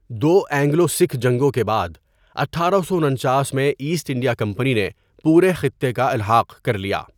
دو Anglo Sikh جنگوں کے بعد، اٹھارہ سو انچاس میں ایسٹ انڈیا کمپنی نے پورے خطے کا الحاق کرلیا.